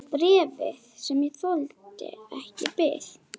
Bréfið, sem þoldi ekki bið